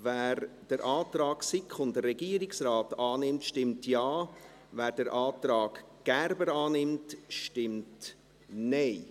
Wer den Antrag SiK und Regierungsrat annimmt, stimmt Ja, wer den Antrag Gerber annimmt, stimmt Nein.